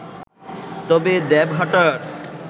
তবে দেবহাটার